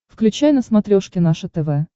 включай на смотрешке наше тв